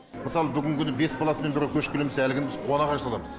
мысалы бүгінгі күні бес баласымен біреу көшіп келеміз десе әлгіні біз қуана қарсы аламыз